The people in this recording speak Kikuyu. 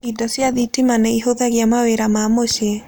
Indo cia thitima nĩ ihũthagia mawĩra ma mũciĩ.